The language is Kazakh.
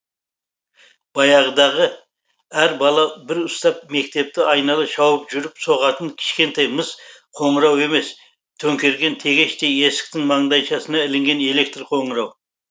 баяғыдағы әр бала бір ұстап мектепті айнала шауып жүріп соғатын кішкентай мыс қоңырау емес төңкерген тегештей есіктің маңдайшасына ілінген электр қоңырау